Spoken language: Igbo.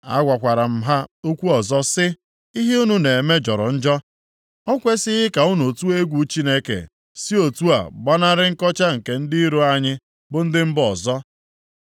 Agwakwara m ha okwu ọzọ sị, “Ihe unu na-eme jọrọ njọ. O kwesighị ka unu tụọ egwu Chineke si otu a gbanarị nkọcha nke ndị iro anyị, bụ ndị mba ọzọ?”